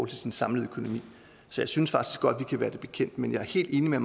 til sin samlede økonomi så jeg synes faktisk godt at vi kan være det bekendt men jeg er helt enig med